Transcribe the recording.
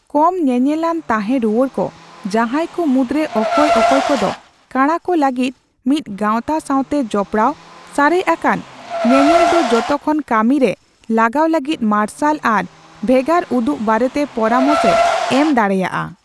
ᱠᱚᱢ ᱧᱮᱧᱮᱞᱟᱱ ᱛᱟᱦᱮᱸ ᱨᱩᱣᱟᱹᱲ ᱠᱚ, ᱡᱟᱸᱦᱟᱭ ᱠᱚ ᱢᱩᱫᱽᱨᱮ ᱚᱠᱚᱭ ᱚᱠᱚᱭ ᱠᱚᱫᱚ ᱠᱟᱬᱟ ᱠᱚ ᱞᱟᱹᱜᱤᱫ ᱢᱤᱫ ᱜᱟᱣᱛᱟ ᱥᱟᱣᱛᱮ ᱡᱚᱯᱲᱟᱣ, ᱥᱟᱨᱮᱡ ᱟᱠᱟᱱ ᱧᱮᱱᱮᱞ ᱫᱚ ᱡᱚᱛᱚ ᱠᱷᱚᱱ ᱠᱟᱹᱢᱤ ᱨᱮ ᱞᱟᱜᱟᱣ ᱞᱟᱹᱜᱤᱫ ᱢᱟᱨᱥᱟᱞ ᱟᱨ ᱵᱷᱮᱜᱟᱨ ᱩᱫᱩᱜ ᱵᱟᱨᱮᱛᱮ ᱯᱚᱨᱟᱢᱚᱥ ᱮ ᱮᱢ ᱫᱟᱲᱮᱭᱟᱜᱼᱟ ᱾